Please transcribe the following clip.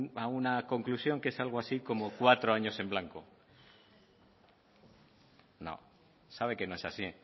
a una conclusión que es algo así como cuatro años en blanco no sabe que no es así